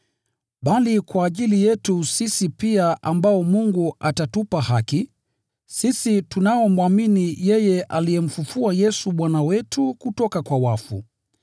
bali kwa ajili yetu sisi pia ambao Mungu atatupa haki, sisi tunaomwamini yeye aliyemfufua Yesu Bwana wetu kutoka kwa wafu.